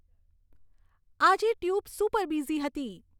આજે tube super busy હતી